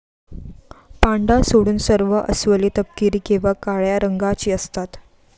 पांडा सोडून सर्व अस्वले तपकिरी किंवा काळ्या रंगाची असतात.